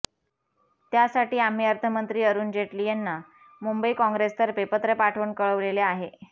त्यासाठी आम्ही अर्थमंत्री अरुण जेटली यांना मुंबई काँग्रेसतर्फे पत्र पाठवून कळवलेले आहे